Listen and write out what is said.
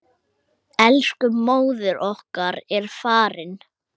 Elsku móðir okkar er farin.